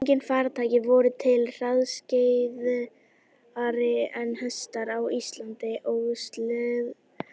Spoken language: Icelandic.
Engin farartæki voru til hraðskreiðari en hestar á landi og seglskip á vatni.